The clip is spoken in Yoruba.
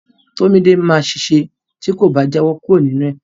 Tomide ma ṣèṣe ti ko ba jawo kuro ninu ẹ.